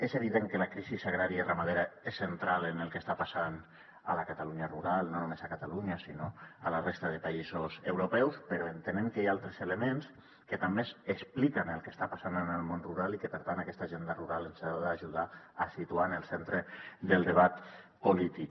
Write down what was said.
és evident que la crisi agrària i ramadera és central en el que està passant a la catalunya rural no només a catalunya sinó a la resta de països europeus però entenem que hi ha altres elements que també expliquen el que està passant en el món rural i que per tant aquesta agenda rural ens ha d’ajudar a situar en el centre del debat polític